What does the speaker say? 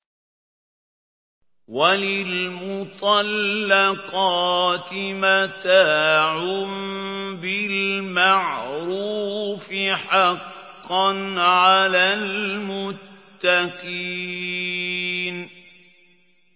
وَلِلْمُطَلَّقَاتِ مَتَاعٌ بِالْمَعْرُوفِ ۖ حَقًّا عَلَى الْمُتَّقِينَ